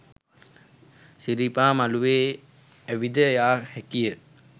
සිරිපා මළුවේ ඇවිද යා හැකිය